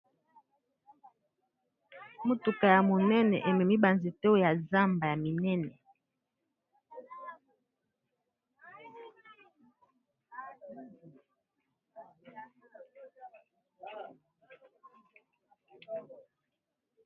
Motuka ya monene ememi ba nzete ya zamba ya minene.